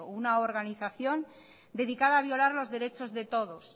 una organización dedicada a violar los derechos de todos